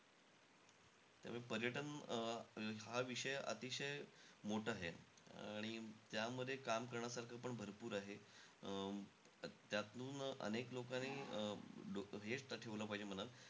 त्यामुळे अं पर्यटन हा विषय अतिशय, मोठा आहे आणि त्यामध्ये काम करण्यासारखं पण भरपूर आहे. अं त्यातून अनेक लोकांनी अं हेचं ठेवलं पाहिजे मनात,